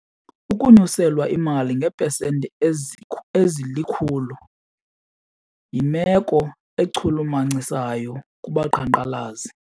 Ukunyuselwa imali ngeepesenti ezilikhulu yimeko echulumachisayo kubaqhankqalazi.